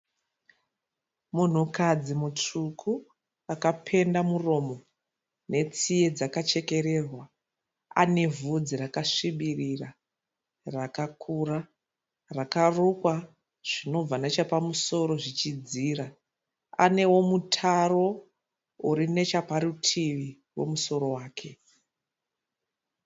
Munhukadzi mutsvuku akapenda muromo netsiye dzakachekererwa. Ane vhudzi rakasvibirira rakakura rakarukwa zvinobva nechapamusoro zvichidzira. Anewo mutaro uri nechaparutivi pomusoro wake.